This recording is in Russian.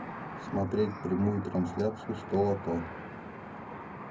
смотреть прямую трансляцию сто лото